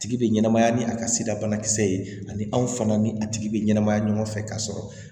Tigi bɛ ɲɛnamaya ni a ka sida banakisɛ ye ani anw fana ni a tigi bɛ ɲɛnamaya ɲɔgɔn fɛ ka sɔrɔ